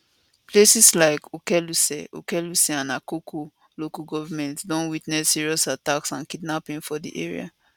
places like okeluse okeluse and akoko local govment don witness serious attacks and kidnapping for dat area